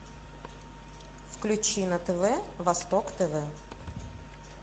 включи на тв восток тв